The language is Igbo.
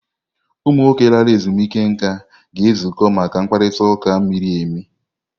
Ụmụ nwoke lara ezumike nká ga-ezukọ maka mkparịta ụka miri emi.